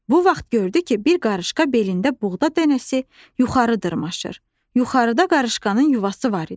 Bu vaxt gördü ki, bir qarışqa belində buğda dənəsi yuxarı dırmaşır, yuxarıda qarışqanın yuvası var idi.